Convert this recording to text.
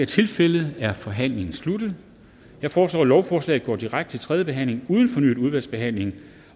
tilfældet er forhandlingen sluttet jeg foreslår at lovforslaget går direkte til tredje behandling uden fornyet udvalgsbehandling